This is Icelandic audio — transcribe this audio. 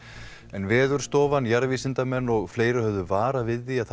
en Veðurstofan jarðvísindamenn og fleiri höfðu varað við því að